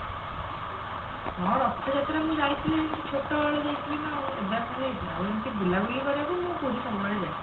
ହଁ ରଥଯାତ୍ରା ମୁଁ ଯାଇଥିଲି ଏମିତି ଛୋଟ ବେଳେ ଯାଇଥିଲି ନାଉ ଏବେ ଆଉ କଣ ଯାଇଛି ଆଉ ଏମତି ବୁଲାବୁଲି କରିବାକୁ ମୁଁ ପୁରୀ ସବୁବେଳେ ଯାଏ